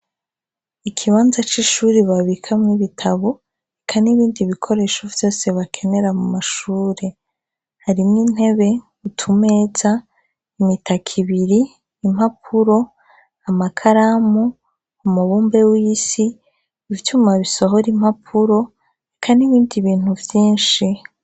Ikibanza c' ishure babikamwo ibitabo eka n' ibindi bikoresho vyose bakenera mumashure harimwo intebe, utumeza, imitaka ibiri, impapuro, amakaramu, umubumbe w'isi, ivyuma bisohora impapuro eka n' ibindi bintu vyinshi.